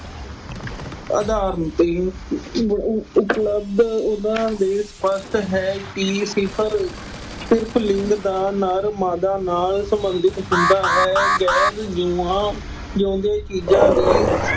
ਉਦਾਹਰਣ ਅਹ ਉਪਲਬਧ ਉਹਨਾਂ ਦੇ ਸਪਸ਼ਟ ਹੈ ਕਿ ਸਿਫਰ ਅਹ ਸਿਰਫ ਲਿੰਗ ਦਾ ਨਰ, ਮਾਦਾ ਨਾਲ ਸਬੰਧਿਤ ਹੁੰਦਾ ਹੈ। ਗੈਰ ਜਿਉਂਦੇ ਚੀਜ਼ਾਂ ਦੀ।